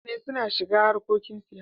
Mutane suna shiga harkokin siyasa.